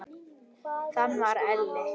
Þannig var Elli.